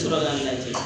Tora ka lajɛ